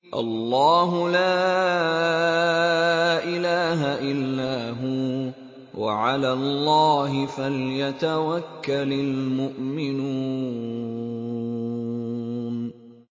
اللَّهُ لَا إِلَٰهَ إِلَّا هُوَ ۚ وَعَلَى اللَّهِ فَلْيَتَوَكَّلِ الْمُؤْمِنُونَ